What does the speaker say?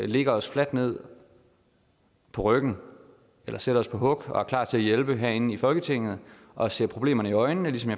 lægger os fladt ned på ryggen eller sætter os på hug og er klar til at hjælpe herinde i folketinget og ser problemerne i øjnene ligesom